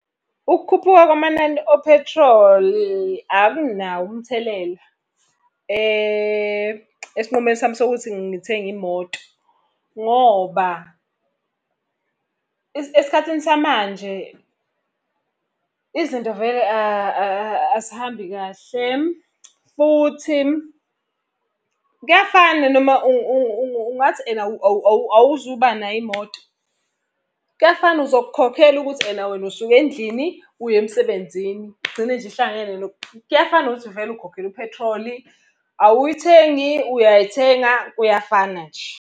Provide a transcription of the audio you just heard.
Ukukhuphuka kwamanani ophethroli akunawo umthelela esinqumeni sami sokuthi ngithenge imoto ngoba esikhathini samanje izinto vele azihambi kahle, futhi kuyafana noma ungathi ena awuzubanayo imoto, kuyafana uzokukhokhela ukuthi ena wena usuke endlini uya emsebenzini, igcine nje ihlangene . Kuyafana nokuthi vele ukhokhele uphethroli, awuyithengi uyayithenga, kuyafana nje.